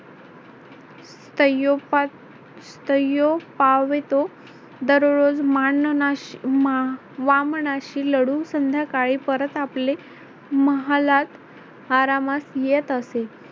सत्यो सत्यो पावितो दररोज माँ वामनाशी लढून संध्याकाळी परत आपले महालात आरामास येत असे.